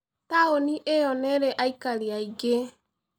Taũni ĩyo nĩ ĩrĩ aikari aingĩ.